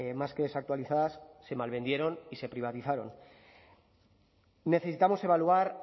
más que desactualizadas se malvendieron y se privatizaron necesitamos evaluar